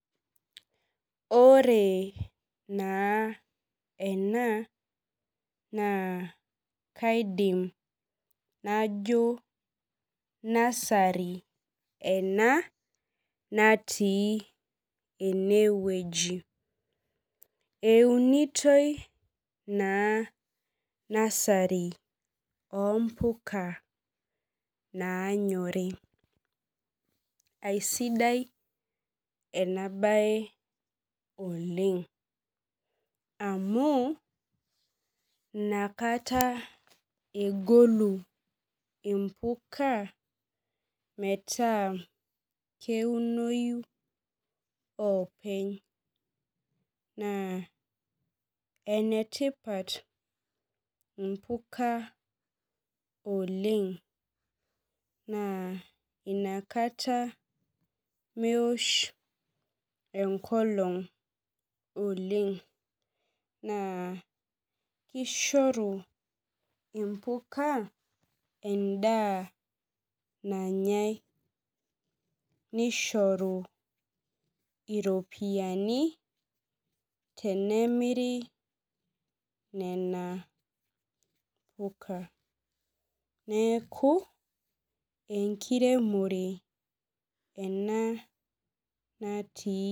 Ore naa ena naa kaidim najo nursery ena natii enewueji eunitoi naa nursery ompuka naanyori aisidai ena baye oleng amu inakata egolu impuka metaa keunoyu openy naa enetipat impuka oleng naa inakata meosh enkolong oleng naa kishoru impuka endaa nanyae nishoru iropiyiani tenemiri nena puka neeku enkiremore ena natii.